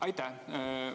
Aitäh!